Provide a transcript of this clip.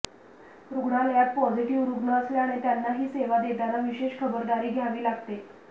रुग्णालयात पॉझिटिव्ह रुग्ण असल्याने त्यांना ही सेवा देताना विशेष खबरदारी घ्यावी लागते